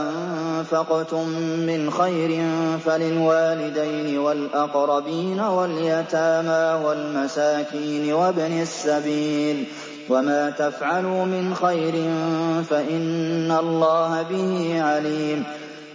أَنفَقْتُم مِّنْ خَيْرٍ فَلِلْوَالِدَيْنِ وَالْأَقْرَبِينَ وَالْيَتَامَىٰ وَالْمَسَاكِينِ وَابْنِ السَّبِيلِ ۗ وَمَا تَفْعَلُوا مِنْ خَيْرٍ فَإِنَّ اللَّهَ بِهِ عَلِيمٌ